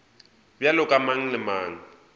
bjalo ka mang le mang